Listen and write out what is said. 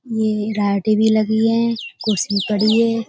ये राडें भी लगी है कुर्सी भी पड़ी हैं।